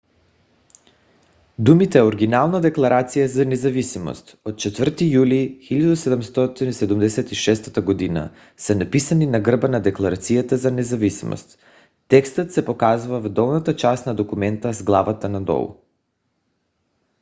думите оригинална декларация за независимост от 4 юли 1776 г. са написани на гърба на декларацията за независимост. текстът се показва в долната част на документа с главата надолу